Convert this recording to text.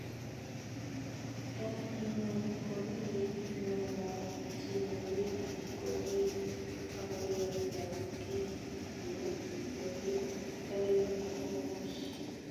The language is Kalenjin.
Eng ingweny komi kiit nemwochini biik korib agoyatagia yo longe garit nebo moshi---